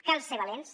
cal ser valents